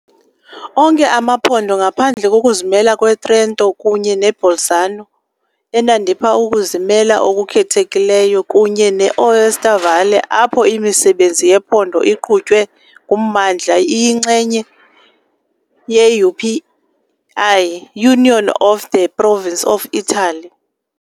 Onke amaphondo, ngaphandle kokuzimela kweTrento kunye neBolzano, enandipha ukuzimela okukhethekileyo, kunye ne-Aosta Valle, apho imisebenzi yephondo iqhutywe nguMmandla, iyingxenye ye-UPI, i-Union of the Province of Italy.